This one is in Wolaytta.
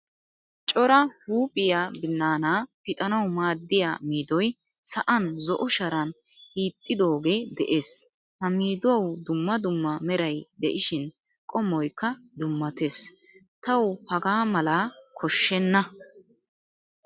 Cora huuphphiyaa binaana pixanawu maadiyaa miidoy sa'aan zo'o sharan hiixxidoge de'ees. Ha miiduwawu dumma dumma meray de'ishin qommoykka dummatees. Tawu hagaa mala koshsheena.